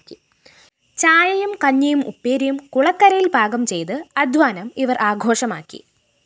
ചായയും കഞ്ഞിയും ഉപ്പേരിയും കുളക്കരയില്‍ പാകംചെയ്ത് അധ്വാനം ഇവര്‍ ആഘോഷമാക്കി